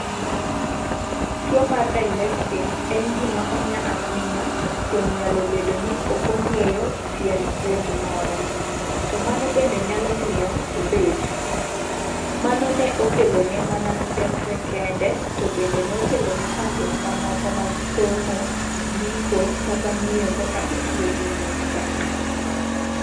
Tuwo mar dyslexia en gima onya ahinya kuom nyalo bedo ni ok ong'eyo tiend puonj moro, to mano bende nyalo miyo obed Mano ne okelone mana midekre kende, to bende ne okelone chandruok mamoko mag somo, ndiko, kata ng'eyo kaka itiyo gi nyukta.